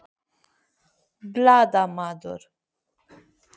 Magnús Hlynur Hreiðarsson: Þannig að þú ert ekkert ruglaður?